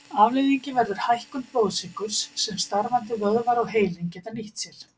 Afleiðingin verður hækkun blóðsykurs sem starfandi vöðvar og heilinn geta nýtt sér.